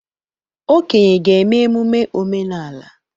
Okenye ga-eme emume omenala.